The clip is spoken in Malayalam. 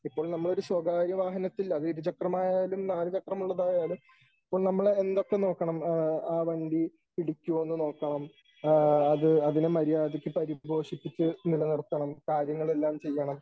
ഇപ്പോൾ നമ്മൾ ഒരു സ്വകാര്യ വാഹനത്തിൽ അത് ഇരു ചക്ര വാഹനമായാലും നാല് ചക്രമുള്ളതായാലും ഇപ്പം നമ്മൾ എന്തൊക്കെ നോക്കണം . ആ വണ്ടി ഇടിക്കുമോ എന്ന് നോക്കണം ആ അതിന് മര്യാദക്ക് പരിപോഷിപ്പിച്ച് നിലനിർത്തണം. കാര്യങ്ങൾ എല്ലാം ചെയ്യണം .